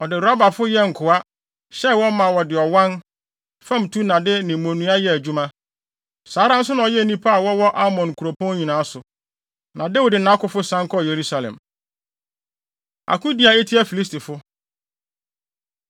Ɔde Rabafo no yɛɛ nkoa, hyɛɛ wɔn ma wɔde ɔwan, famtunnade ne mmonnua yɛɛ adwuma. Saa ara nso na ɔyɛɛ nnipa a wɔwɔ Amon nkuropɔn nyinaa so. Na Dawid ne nʼakofo san kɔɔ Yerusalem. Akodi A Etia Filistifo